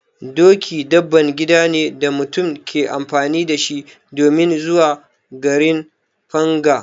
Doki dabban gida ne da mutum ke amfani da shi domin zuwa garin Fanga.